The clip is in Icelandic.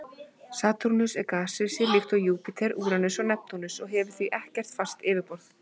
Satúrnus er gasrisi líkt og Júpíter, Úranus og Neptúnus og hefur því ekkert fast yfirborð.